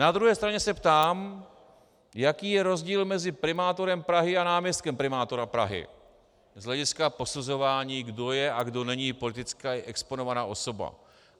Na druhé straně se ptám, jaký je rozdíl mezi primátorem Prahy a náměstkem primátora Prahy z hlediska posuzování, kdo je a kdo není politicky exponovaná osoba.